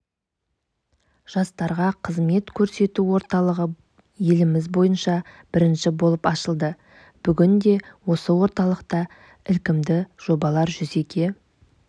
жастарға қызмет көрсету орталығы еліміз бойынша бірінші болып ашылды бүгінде осы орталықта ілкімді жобалар жүзеге